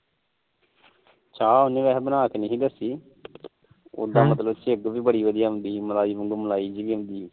ਚਾਹ ਉਹਦੀ ਬਣਾ ਕੇ ਨੀ ਦੇਖੀ ਉਦਾ ਝੱਗ ਬੜੀ ਵਧੀਆਂ ਆਉਂਦੀ ਮਲਾਈ ਵੀ ਆਉਂਦੀ